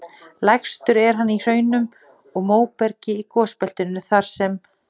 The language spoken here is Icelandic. Lægstur er hann í hraunum og móbergi í gosbeltinu þar sem